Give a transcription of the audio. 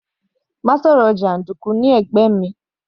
Má sọ̀rọ̀ jàndùkú ní ara mi.